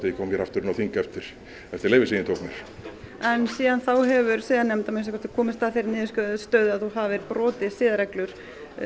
ég kom hér aftur inn á þing eftir eftir leyfið sem ég tók mér en síðan þá hefur siðanefnd að minnsta kosti komist að þeirri niðurstöðu að þú hafir brotið siðareglur